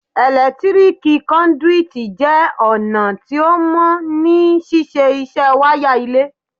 Ẹ̀lẹ́tíríkì Kọ́ndúítí jẹ́ ọ̀nà tó mọ́ ní ṣíṣe iṣẹ́ wáyà ilé.